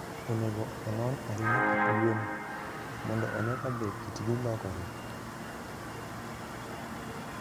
Onego onon ahinya kit gwen, mondo one kabe kitgi lokore.